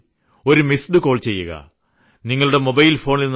ഒരു missed call ചെയ്യുക നിങ്ങളുടെ മൊബൈൽ ഫോണിൽ നിന്ന്